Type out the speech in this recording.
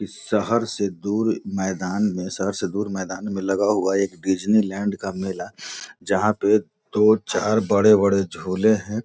इस शहर से दूर मैदान में शहर से दूर मैदान में लगा हुआ एक डिज्नीलैंड का मेला जहाँ पे दो चार बड़े बड़े झूले हैं |